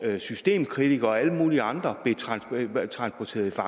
systemkritikere og alle mulige andre blev transporteret til